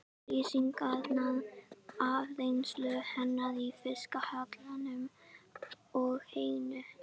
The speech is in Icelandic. Lýsingarnar af reynslu hennar í fiskhjallinum og heyinu?